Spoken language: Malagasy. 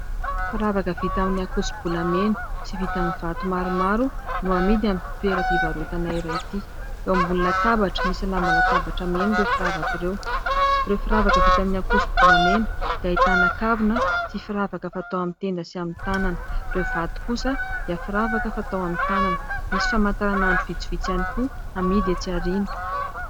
Firavaka vita amin'ny ankosobolamena sy vita amin'ny vato maromaro no amidy amin'ity toeram-pivarotana iray ity. Eo ambony latabatra misy lamba latabatra mena ireo firavaka ireo. Ireo firavaka vita amin'ny ankosobolamena dia ahitana kavina sy firavaka fatao amin'ny tenda sy amin'ny tanana. Ireo vato kosa dia firavaka fatao amin'ny tanana. Misy famataranandro vitsivitsy ihany koa amidy etsy aoriana.